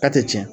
K'a tɛ tiɲɛ